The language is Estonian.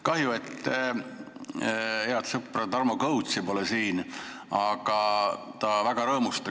Kahju, et head sõpra Tarmo Kõutsi siin pole, ta väga rõõmustaks.